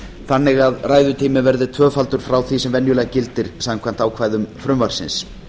þannig að ræðutíminn verði tvöfaldur frá því sem venjulega gildir samkvæmt ákvæðum frumvarpsins